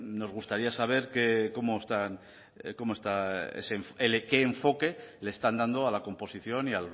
nos gustaría saber cómo está ese qué enfoque le están dando a la composición y